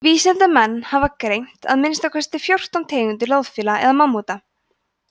vísindamenn hafa greint að minnsta kosti fjórtán tegundir loðfíla eða mammúta